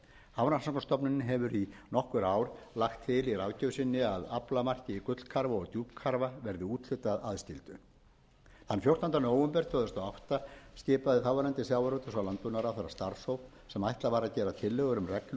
hafrannsóknastofnunin hefur í nokkur ár lagt til í ráðgjöf sinni að aflamarki í gullkarfa og djúpkarfa verði úthlutað aðskildu þann fjórtánda nóvember tvö þúsund og átta skipaði þáv sjávarútvegs og landbúnaðarráðherra starfshóp sem ætlað var að gera tillögur um reglur við